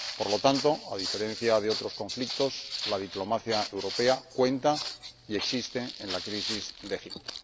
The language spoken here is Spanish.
Por lo tanto, a diferencia de otros conflictos, la diplomacia europea cuenta y existe en la crisis de Egipto.